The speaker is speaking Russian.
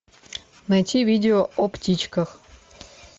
найти видео о птичках